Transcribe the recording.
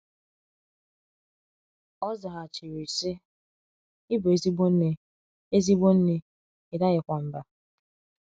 ọ zaghachiri, sị: “ Ị bụ ezigbo nne, ezigbo nne, ị daghịkwa mbà.